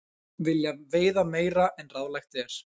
Vilja veiða meira en ráðlagt er